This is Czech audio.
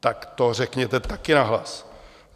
Tak to řekněte také nahlas.